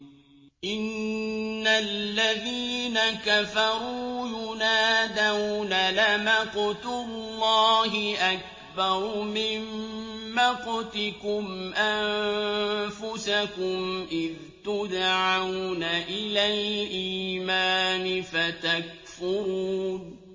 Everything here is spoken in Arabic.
إِنَّ الَّذِينَ كَفَرُوا يُنَادَوْنَ لَمَقْتُ اللَّهِ أَكْبَرُ مِن مَّقْتِكُمْ أَنفُسَكُمْ إِذْ تُدْعَوْنَ إِلَى الْإِيمَانِ فَتَكْفُرُونَ